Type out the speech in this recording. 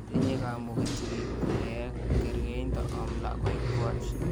Tinyei kamuget sikik kulek kergeinto om lakoikwach.